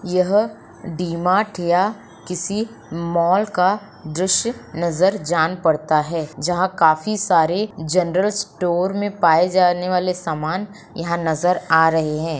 यह D Mart या किसी मॉल का दृश्य नजर जान पड़ता है जहां काफी सारे जनरल स्टोर में पाए जाने वाले सामान यहां नजर आ रहे हैं।